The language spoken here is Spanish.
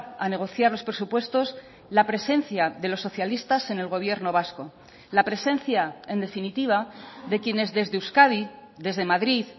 a negociar los presupuestos la presencia de los socialistas en el gobierno vasco la presencia en definitiva de quienes desde euskadi desde madrid